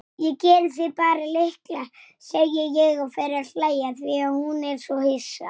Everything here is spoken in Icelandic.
Hann klappar mér á bakið.